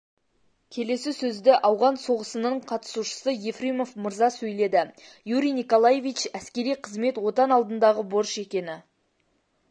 келесі сөзді ауған соғысының қатысушысы ефримов мырза сөйледі юрий николаевич әскери қызмет отан алдындағы борыш екені